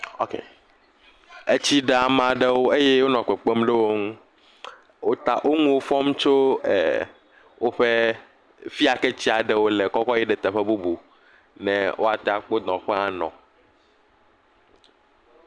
OK. Etsi ɖe ame aɖewo eye wonɔ kpekpem ɖe wo ŋu. Wota, wo ŋuwo fɔm tso woƒe ɛɛɛɛ, fi ya yi ke tsia ɖe wo le kɔ kɔ yi ɖe teƒe bubu ne woate akpɔ nɔƒe anɔ.